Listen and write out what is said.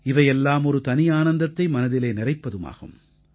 இவையெல்லாம் ஒரு தனி ஆனந்தத்தை மனதிலே நிறைப்பதாகும்